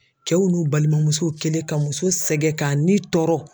Cɛw n'u balimamusow kɛlen ka muso sɛgɛn k'a ni tɔɔrɔ.